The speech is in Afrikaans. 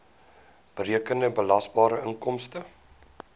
berekende belasbare inkomste